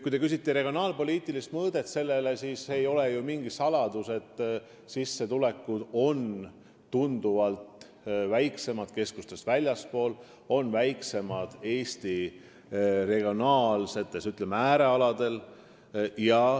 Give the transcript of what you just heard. Kui te küsite regionaalpoliitilise mõõtme kohta, siis see ei ole ju mingi saladus, et sissetulekud on tunduvalt väiksemad keskustest väljaspool, Eesti n-ö äärealadel.